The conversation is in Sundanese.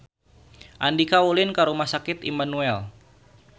Andika ulin ka Rumah Sakit Immanuel